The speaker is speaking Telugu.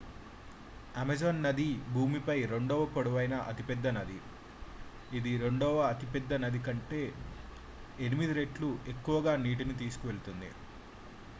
అమెజాన్ నది భూమిపై రెండవ పొడవైన అతిపెద్ద నది ఇది రెండవ అతిపెద్ద నది కంటే 8 రెట్లు ఎక్కువ నీటిని తీసుకువెళుతుంది